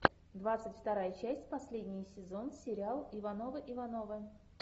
двадцать вторая часть последний сезон сериал ивановы ивановы